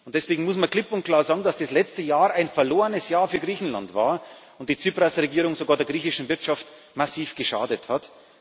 Und deswegen muss man klipp und klar sagen, dass das letzte Jahr ein verlorenes Jahr für Griechenland war, und die Tsipras Regierung der griechischen Wirtschaft sogar massiv geschadet hat.